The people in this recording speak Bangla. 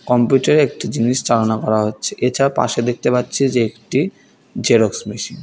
কম্পিউটার -এ একটি জিনিস চালনা করা হচ্ছে এছাড়া পাশে দেখতে পাচ্ছি যে একটি জেরক্স মেশিন ।